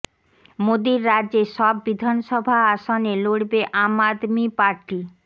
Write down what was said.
মোদীর রাজ্যে সব বিধানসভা আসনে লড়বে আম আদমি পার্টি